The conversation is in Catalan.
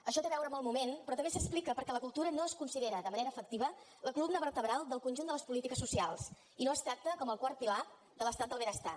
això té a veure amb el moment però també s’explica perquè la cultura no es considera de manera efectiva la columna vertebral del conjunt de les polítiques socials i no es tracta com el quart pilar de l’estat del benestar